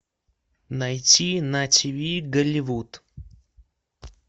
найти на ти ви голливуд